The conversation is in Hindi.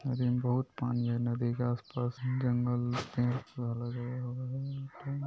नदी में बहुत पानी है नदी के आसपास जंगल पेड़ पौधे लगा हुआ हैं।